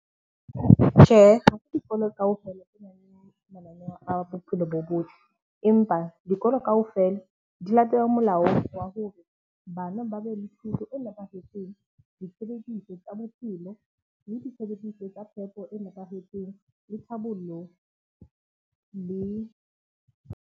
Tjhehe, ha ke dikolo kaofela e nang le mananeo a bophelo bo botle, empa dikolo kaofela di latele molao wa hore bana ba e nepahetseng, tsa bophelo le tsa phepo e nepahetseng le tlhabollo le.